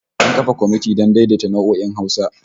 An kafa komiti don daidaita nau'o'in Hausa